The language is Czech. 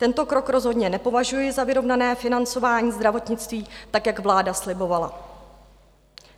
Tento krok rozhodně nepovažuji za vyrovnané financování zdravotnictví, tak jak vláda slibovala.